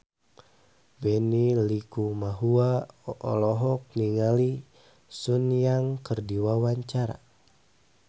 Benny Likumahua olohok ningali Sun Yang keur diwawancara